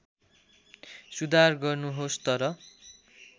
सुधार गर्नुहोस् तर